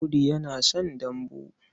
Audu yana son dambu.